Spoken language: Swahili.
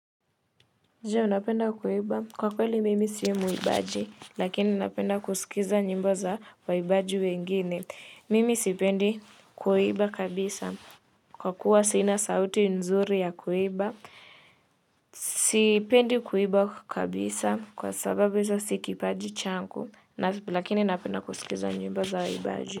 Je unapenda kuimba kwa kweli mimi si mwimbaji lakini napenda kusikiza nyimbo za waimbaji wengine mimi sipendi kuimba kabisa kwa kuwa sina sauti nzuri ya kuimba sipendi kuimba kabisa kwa sababu si kipaji changu lakini unapenda kusikiza njimbo za waibaji.